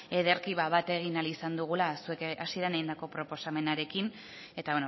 ederki bat eginda ahal izan dugula zuek hasieran egindako proposamenarekin eta